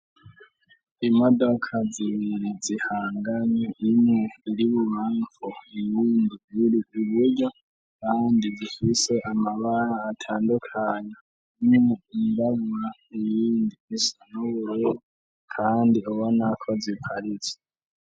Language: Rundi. Imodoka zibiri zihanganye iniriwiwanfo ibindi biri iburyo kandi zifise amabara atandukanya ni indaba ibindi isanoure kandi ubonako ziparitse.